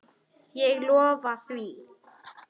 Ég lofa því.